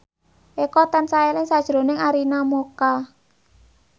Eko tansah eling sakjroning Arina Mocca